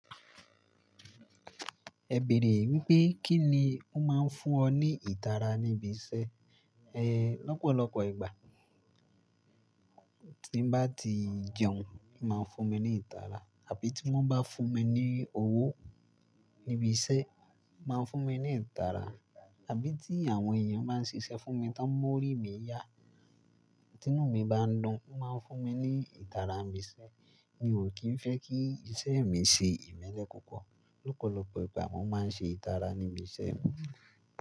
Ẹ bèèrè wípé kí ni ó máa ń fún ọ ní ìtara níbi iṣẹ́ ẹ. Lọ́pọ̀lọpọ̀ ìgbà tí ń bá ti jẹun, máa ń fún mi ní ìtara àbí tí wọ́n bá fún mi ní owó níbi iṣẹ́ máa ń fún mi ní ìtara àbí tí àwọn èèyàn bá ń ṣiṣẹ́ fún mi tá ń mọ́rí mi yá, ti inú mi bá ń dùn o máa ń fún mi ní ìtara n ibi iṣẹ́. Mi ò kí ń fẹ́ kí iṣẹ́ mi ṣe ìmẹ́lẹ́ pupo. Lọ́pọ̀lọpọ̀ ìgbà mo máa ń ṣe ìtara níbi iṣẹ́ mi.